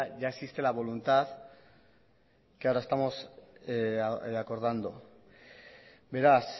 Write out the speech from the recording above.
ya existe la voluntad que ahora estamos acordando beraz